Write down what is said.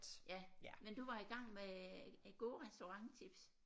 Ja men du var i gang med gode restauranttips